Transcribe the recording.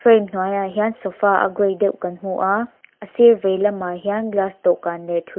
hnuai ah hian sofa a gray deuh kan hmu a a sir veilamah hian glass dawhkan leh thu--